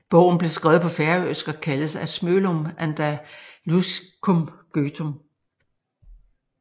Bogen blev skrevet på færøsk og kaldes Á smølum andalusiskum gøtum